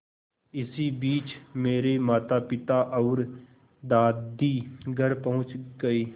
इसी बीच मेरे मातापिता और दादी घर पहुँच गए